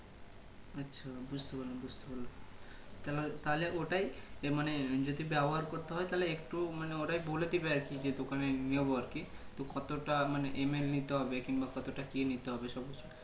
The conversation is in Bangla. বুজতে পারলাম বুজতে পারলাম কেন তাহলে ওটাই মানে যদি ব্যবহার করতে হয় তাহলে একটু মানে ওয়াই বলে দিবে আরকি যে দোকানে নেবো আরকি তো কতটা মানে ML নিতে হবে কিংবা কতোটা কি নিতে হবে সবকিছু